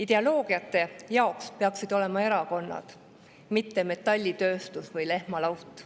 Ideoloogiate jaoks peaksid olema erakonnad, mitte metallitööstus või lehmalaut.